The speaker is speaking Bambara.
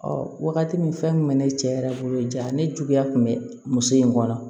wagati min fɛn kun bɛ ne cɛ yɛrɛ bolo ja ne juguya kun bɛ muso in kɔnɔ